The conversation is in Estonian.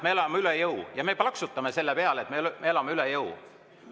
Me elame üle jõu ja me plaksutame selle peale, et me elame üle jõu!